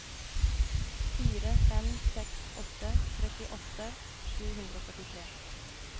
fire fem seks åtte trettiåtte sju hundre og førtitre